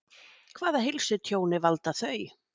Hvaða heilsutjóni valda þau?